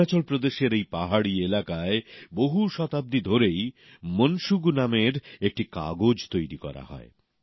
অরুণাচল প্রদেশের এই পাহাড়ি এলাকায় বহু শতাব্দী ধরেই মন শুগু নামের একটি কাগজ তৈরি করা হয়